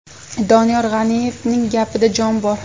Doniyor G‘aniyevning gapida jon bor.